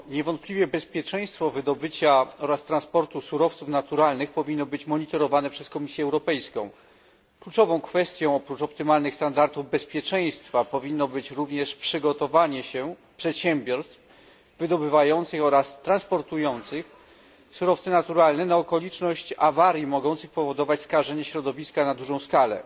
Niewątpliwie bezpieczeństwo wydobycia oraz transportu surowców naturalnych powinno być monitorowane przez Komisję Europejską. Kluczową kwestią oprócz optymalnych standardów bezpieczeństwa powinno być również przygotowanie przedsiębiorstw wydobywających oraz transportujących surowce naturalne na okoliczność awarii mogących powodować skażenie środowiska na dużą skalę.